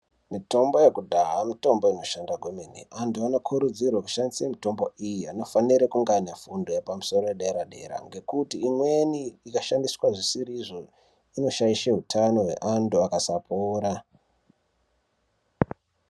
Mitombo yakudhaya mitombo inoshanda kwemene. Antu anokurudzirwe kushandisa mitombo iyi anofanire kungaane fundo yepamusoro yedera-dera. Ngekuti imweni ikashandiswa zvisiri izvo inoshaishe hutano hweantu akasapora.